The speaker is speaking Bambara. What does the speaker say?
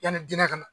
Yanni dinɛ ka na